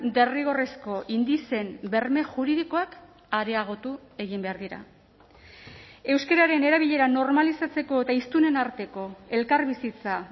derrigorrezko indizeen berme juridikoak areagotu egin behar dira euskararen erabilera normalizatzeko eta hiztunen arteko elkarbizitza